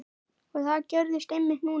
Og það gerðist einmitt núna!